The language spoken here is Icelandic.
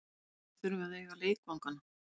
Félögin þurfa að eiga leikvangana.